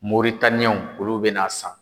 Moritaniyɛnw olu be na a san.